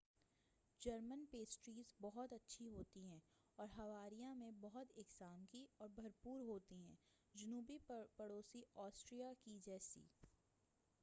German pastries بہت اچھی ہوتی ہیں اور بواریا میں بہت اقسام کی اور بھرپور ہوتی ہیں جنوبی پڑوسی آسٹریا کے جیسی